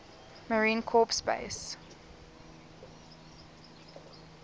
marine corps base